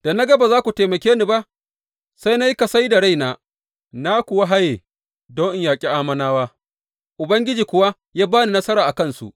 Da na ga ba za ku taimake ni ba, sai na yi kasai da raina na kuwa haye don in yaƙi Ammonawa, Ubangiji kuwa ya ba ni nasara a kansu.